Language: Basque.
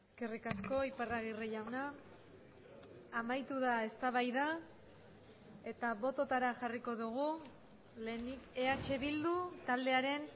eskerrik asko iparragirre jauna amaitu da eztabaida eta bototara jarriko dugu lehenik eh bildu taldearen